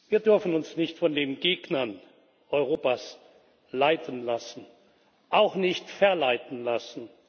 Wir dürfen uns nicht von den Gegnern Europas leiten lassen, auch nicht verleiten lassen.